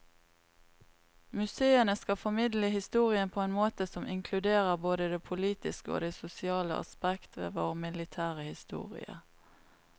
Museene skal formidle historien på en måte som inkluderer både det politiske og det sosiale aspekt ved vår militære historie.